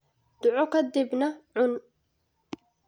Duco ka dibna cun.